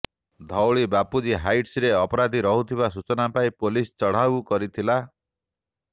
ଧଉଳି ବାପୁଜୀ ହାଇଟ୍ସରେ ଅପରାଧୀ ରହୁଥିବା ସୂଚନା ପାଇ ପୋଲିସ ଚଢାଉ କରିଥିଲା